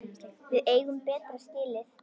Við eigum betra skilið.